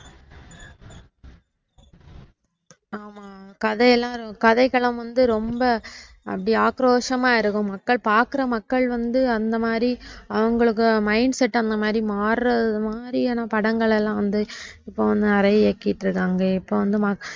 கதையெல்லாம் கதைக்களம் வந்து ரொம்ப அப்படி ஆக்ரோஷமா இருக்கும் மக்கள் பாக்குற மக்கள் வந்து அந்த மாதிரி அவங்களுக்கு mindset அந்த மாதிரி மாற மாறியான படங்கள்லாம் வந்து இப்போ வந்து நிறைய இயக்கிட்டிருக்காங்க இப்ப வந்து